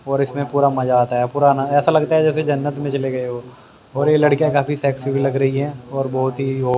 और इसमें पूरा मजा आता है पुरा ना ऐसा लगता है जैसे जन्नत में चले गए हो और ये लड़कियां काफी सेक्सी भी लग रही है और बहोत ही वो--